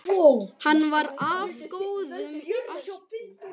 Hann var af góðum ættum.